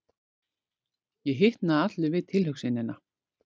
Ég hitnaði allur við tilhugsunina.